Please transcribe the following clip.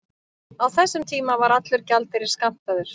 Á þessum tíma var allur gjaldeyrir skammtaður.